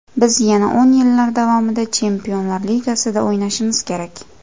Biz yana o‘n yillar davomida chempionlar ligasida o‘ynashimiz kerak.